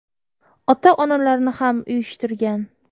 Ota-onalarni ham uyushtirgan.